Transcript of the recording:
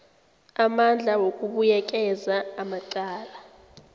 amandla wokubuyekeza amacala